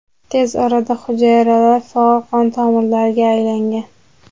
Tez orada hujayralar faol qon tomirlariga aylangan.